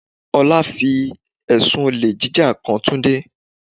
Ọlá fi ẹ̀sùn olè jíjà kan Túndé.